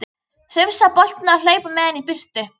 Hrifsa boltann og hlaupa með hann í burtu.